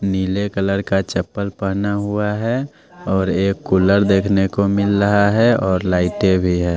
नीले कलर का चप्पल पहना हुआ है और एक कूलर देखने को मिल रहा है और लाइटे भी है।